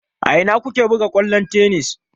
A ina ku ke buga kwallon tennis?